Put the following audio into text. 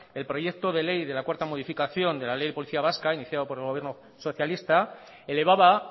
el proyecto de ley de la cuarta modificación de la ley de policía vasca iniciado por el gobierno socialista elevaba